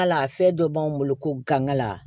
Hal'a fɛn dɔ b'an bolo ko gangan